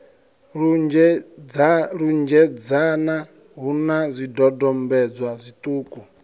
lunzhedzana hu na zwidodombedzwa zwiṱuku